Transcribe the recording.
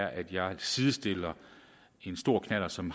sidestille en stor knallert som